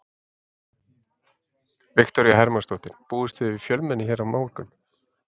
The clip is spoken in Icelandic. Viktoría Hermannsdóttir: Búist þið við fjölmenni hérna á morgun?